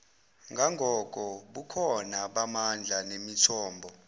ngangobukhona bamandla nemithombo